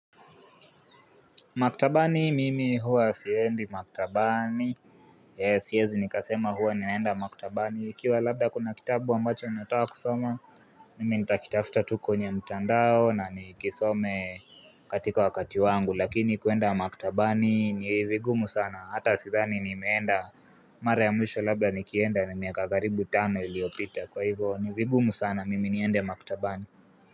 Maktabani mimi huwa siendi maktabani, eeh siwezi nikasema huwa ninaenda maktabani, ikiwa labda kuna kitabu ambacho nataka kusoma, mimi nitakitafuta tu kwenye mtandao nanikisome. Katika wakati wangu, lakini kuenda maktabani nivigumu sana, hata sidhani nimeenda mara ya mwisho labda nikienda ni miaka karibu tano iliopita kwa hivyo nivigumu sana mimi niende maktabani.